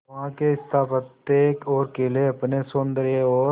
वहां के स्थापत्य और किले अपने सौंदर्य और